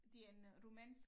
Det er en øh romænsk